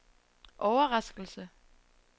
overraskelse